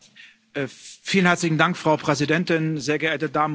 Frau Präsidentin, sehr geehrte Damen und Herren Abgeordnete!